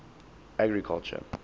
agriculture